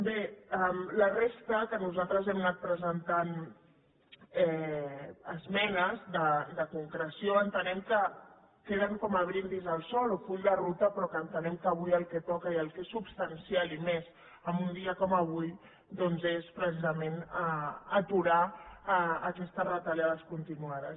bé la resta en què nosaltres hem anat presentant esmenes de concreció entenem que queda com un brindis al sol o full de ruta però entenem que avui el que toca i el que és substancial i més en un dia com avui doncs és precisament aturar aquestes retallades continuades